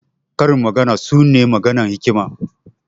Karin magana su ne maganan hikima.